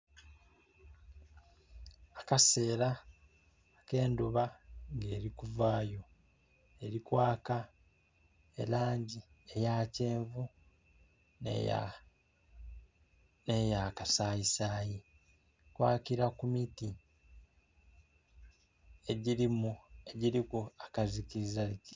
Akaseera akendhuba nga eri kuvaayo eri kwaka elangi eya kyenvu n'eya kasayisaayi, eri kwakira ku miti egiriku akazikiizazikiiza.